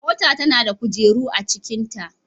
Mota nada kujeru acikin ta